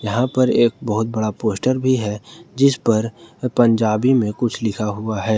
यहां पर एक बहुत बड़ा पोस्टर भी है जिस पर पंजाबी में कुछ लिखा हुआ है।